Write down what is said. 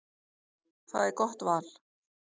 Það er gott val.